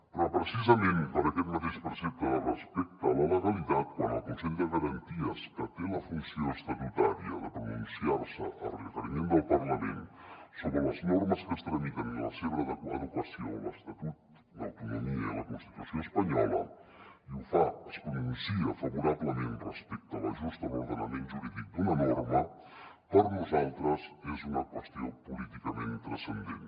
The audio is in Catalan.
però precisament per aquest mateix precepte de respecte a la legalitat quan el consell de garanties estatutàries que té la funció estatutària de pronunciar se a requeriment del parlament sobre les normes que es tramiten i la seva adequació a l’estatut d’autonomia i a la constitució espanyola i ho fa es pronuncia favorablement respecte a l’ajust a l’ordenament jurídic d’una norma per nosaltres és una qüestió políticament transcendent